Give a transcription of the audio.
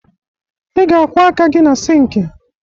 Ị ga-akwọ aka gị na sịịnkị